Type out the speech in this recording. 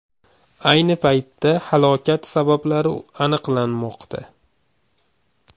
Ayni paytda halokat sabablari aniqlanmoqda.